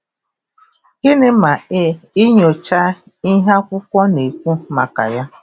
Gịnị ma ị, ịyochaa ihe akwụkwọ na-ekwu maka ya?